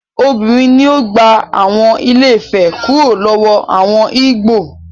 Obìnrin ni ó gba àwọn Ilé-Ifẹ̀ kúrò lọ́wọ́ àwọn Ìgbò.